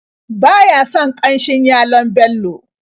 Ba ya son ƙanshin yalon Bello.